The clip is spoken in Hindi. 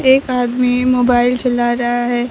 एक आदमी मोबाइल चला रहा है।